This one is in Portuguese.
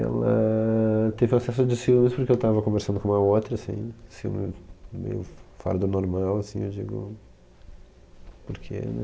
Ela éh... teve acesso de ciúmes porque eu tava conversando com uma outra, assim, ciúmes meio f fora do normal, assim, eu digo... Por quê, né?